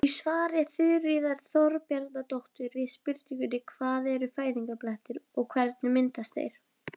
Í svari Þuríðar Þorbjarnardóttur við spurningunni Hvað eru fæðingarblettir og hvernig myndast þeir?